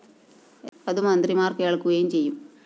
അതു മന്ത്രിമാര്‍ കേള്‍ക്കുകയും ചെയ്യും